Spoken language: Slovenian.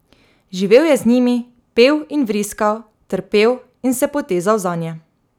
Živel je z njimi, pel in vriskal, trpel in se potezal zanje.